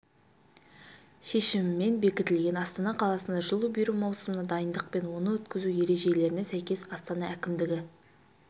шешімімен бекітілген астана қаласында жылу беру маусымына дайындық пен оны өткізу ережелеріне сәйкес астана әкімдігі